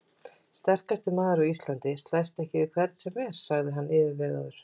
Sterkasti maður á Íslandi slæst ekki við hvern sem er, sagði hann yfirvegaður.